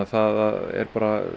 það er